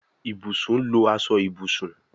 Ibùsùn lọ aṣọ Ibùsùn.